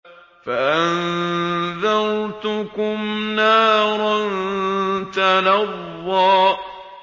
فَأَنذَرْتُكُمْ نَارًا تَلَظَّىٰ